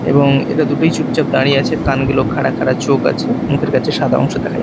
এবং এটা দুটোই চুপচাপ দাঁড়িয়ে আছে কানগুলো খাড়া খাড়া চোখ আছে মুখের কাছে সাদা অংশ দেখা যায়।